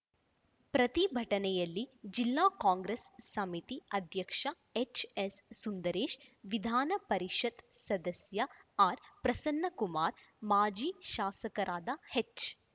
ಪ್ರತಿ ಭಟನೆಯಲ್ಲಿ ಜಿಲ್ಲಾ ಕಾಂಗ್ರೆಸ್‌ ಸಮಿತಿ ಅಧ್ಯಕ್ಷ ಎಚ್‌ಎಸ್‌ ಸುಂದರೇಶ್‌ ವಿಧಾನಪರಿಷತ್‌ ಸದಸ್ಯ ಆರ್‌ ಪ್ರಸನ್ನಕುಮಾರ್‌ ಮಾಜಿ ಶಾಸಕರಾದ ಎಚ್‌